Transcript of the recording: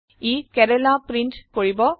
ই Kerala print কৰিব